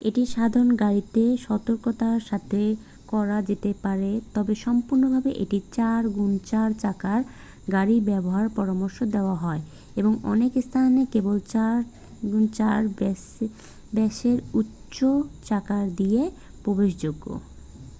এটি সাধারণ গাড়িতে সতর্কতার সাথে করা যেতে পারে তবে সম্পূর্ণভাবে একটি 4x4 চাকার গাড়ি ব্যবহারের পরামর্শ দেওয়া হয় এবং অনেক স্থানা কেবল 4x4 বেসের উঁচু চাকা দিয়েই প্রবেশযোগ্য।